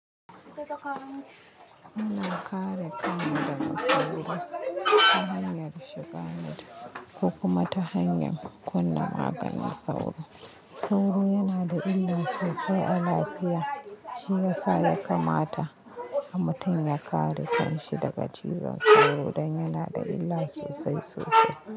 Muna kare kanmu daga sauro ta hanyar shiga net ko kuma ta hanyar kunna maganin sauro. Sauro yana da illa sosai a lafiya. Shi ya sa ya kamata a mutum ya kare kanshi daga cizon sauro don yana da illa sosai sosai.